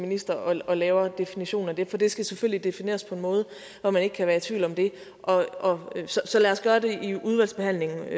minister og laver en definition af det for det skal selvfølgelig defineres på en måde så man ikke kan være i tvivl om det så lad os gøre det i udvalgsbehandlingen i